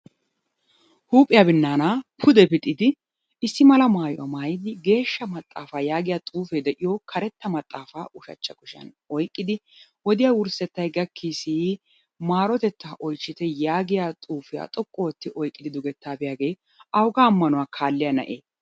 Huuphiya binnaanaa pude pixidi issi mala maayuwa maayidi geeshsha maxxaafaa yaagiyo xuufee de'iyo karetta maxaafaa ushachcha kushiyan oyqqidi wodiya wurssettay gakkiisii marotettaa oychchite yaagiya xuufiya xoqqu ootti oyqqidi dugettaa biyagee awugaa ammanuwa kaalliya na'ee?